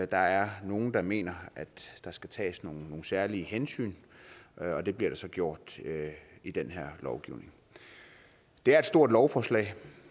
der er nogle der mener at der skal tages nogle særlige hensyn og det bliver der så gjort i den her lovgivning det er et stort lovforslag